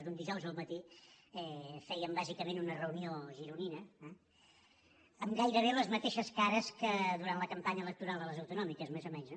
d’un dijous al matí fèiem bàsicament una reunió gironina amb gairebé les mateixes cares que durant la campanya electoral de les autonòmiques més o menys